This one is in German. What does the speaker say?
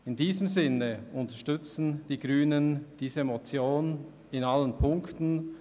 In diesem Sinn unterstützen die Grünen diese Motion in allen Ziffern.